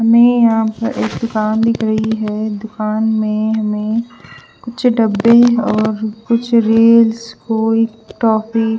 हमे यहा पर एक दुकान दिख रही है दुकान में हमे कुछ डब्बे और कुछ रील्स टॉफी --